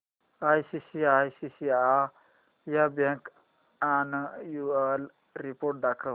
ICICI bank annual report दाखव